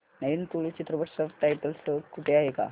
नवीन तुळू चित्रपट subtitles सह कुठे आहे का